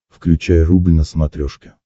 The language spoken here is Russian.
включай рубль на смотрешке